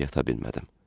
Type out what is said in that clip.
Amma yata bilmədim.